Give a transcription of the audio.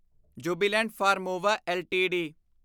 Jubilant Pharmova LTD